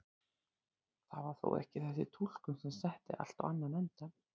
Það var þó ekki þessi túlkun sem setti allt á annan endann.